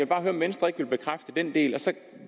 bare høre om venstre ikke vil bekræfte den del så